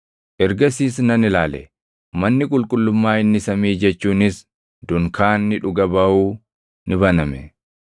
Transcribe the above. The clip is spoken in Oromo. Ergasiis nan ilaale; manni qulqullummaa inni samii jechuunis dunkaanni dhuga baʼuu ni baname.